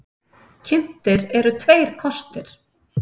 Kynntir eru tveir kostir.